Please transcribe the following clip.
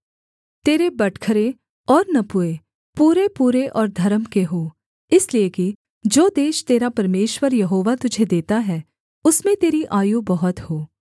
तेरे बटखरे और नपुए पूरेपूरे और धर्म के हों इसलिए कि जो देश तेरा परमेश्वर यहोवा तुझे देता है उसमें तेरी आयु बहुत हो